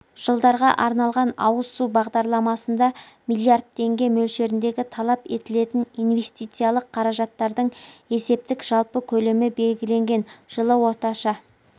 жылдарға арналған ауыз су бағдарламасында миллиард теңге мөлшеріндегі талап етілетін инвестициялық қаражаттардың есептік жалпы көлемі белгіленген жылғы орташа